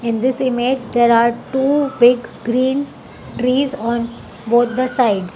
In this image there are two big green trees are both the sides.